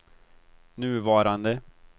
nuvarande